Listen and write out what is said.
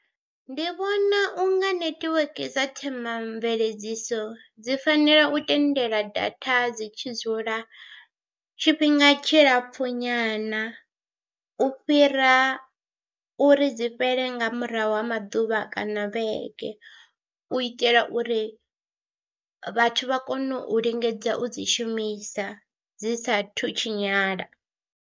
Ndi vhona u nga netiweke dza themamveledziso dzi fanela u tendela daha dzi tshi dzula tshifhinga tshilapfhunyana u fhira uri dzi fhele nga murahu ha maḓuvha kana vhege, u itela uri vhathu vha kone u lingedza u dzi shumisa dzi saathu tshinyala.